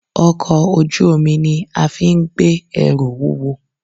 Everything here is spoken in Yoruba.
Ọkọ̀ ojú omi ni afín gbé ẹrù wúwo.